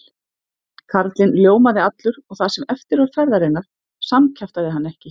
Karlinn ljómaði allur og það sem eftir var ferðarinnar samkjaftaði hann ekki.